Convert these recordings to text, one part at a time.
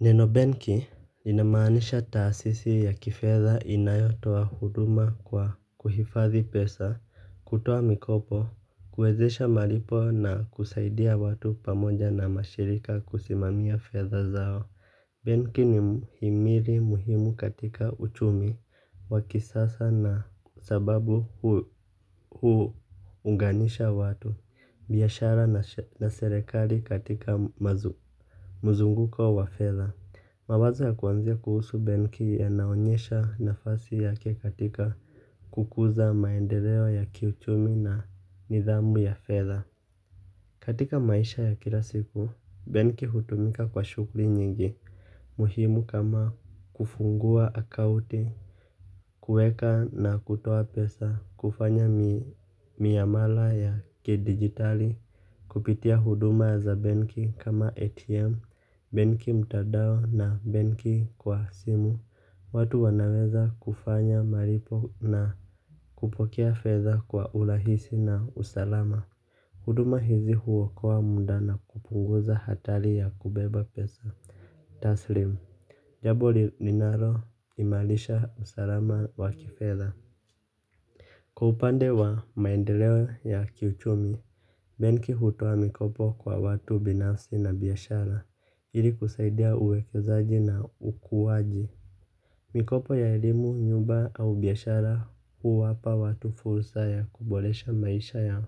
Neno benki linamaanisha taasisi ya kifedha inayotoa huduma kwa kuhifadhi pesa, kutoa mikopo, kuwezesha malipo na kusaidia watu pamoja na mashirika kusimamia fedha zao. Benki ni muhimu katika uchumi wa kisasa kwa sababu huunganisha watu, biashara na serikali katika mzunguko wa fedha. Mawazo ya kwanza kuhusu benki yanaonyesha nafasi yake katika kukuza maendeleo ya kiuchumi na nidhamu ya fedha. Katika maisha ya kila siku, benki hutumika kwa shughuli nyingi. Muhimu kama kufungua akaunti, kuweka na kutoa pesa, kufanya miamala ya kidijitali. Kupitia huduma za benki kama ATM, benki mtandao na benki kwa simu. Watu wanaweza kufanya malipo na kupokea fedha kwa urahisi na usalama. Huduma hizi huokoa muda na kupunguza hatari ya kubeba pesa taslimu, jambo linaloimarisha usalama wa kifedha. Kwa upande wa maendeleo ya kiuchumi, benki hutoa mikopo kwa watu binafsi na biashara ili kusaidia uwekezaji na ukuaji. Mikopo ya elimu, nyumba au biashara huwapa watu fursa ya kuboresha maisha yao.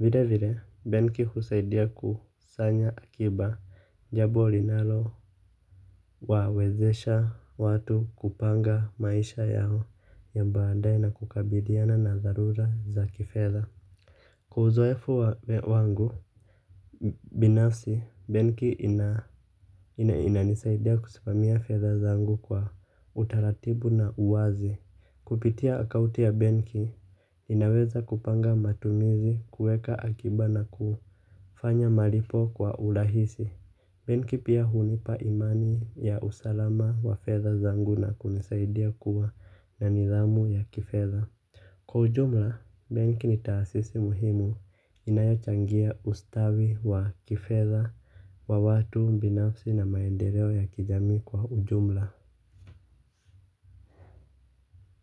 Vilevile, benki husaidia kusanya akiba, jambo linalo wawezesha watu kupanga maisha yao ya baadaye na kukabiliana na dharura za kifedha. Kwa uzoefu wangu binafsi, benki inanisaidia kusimamia fedha zangu kwa utaratibu na uwazi. Kupitia akaunti ya benki, ninaweza kupanga matumizi, kuweka akiba na kufanya malipo kwa urahisi. Benki pia hunipa imani ya usalama wa fedha zangu na kunisaidia kuwa na nidhamu ya kifedha. Kwa ujumla, benki ni taasisi muhimu inayochangia ustawi wa kifedha wa watu binafsi na maendeleo ya kijamii kwa ujumla.